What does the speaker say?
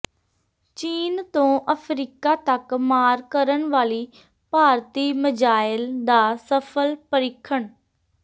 ਚੀਨ ਤੋਂ ਅਫਰੀਕਾ ਤੱਕ ਮਾਰ ਕਰਨ ਵਾਲੀ ਭਾਰਤੀ ਮਿਜ਼ਾਈਲ ਦਾ ਸਫ਼ਲ ਪਰੀਖਣ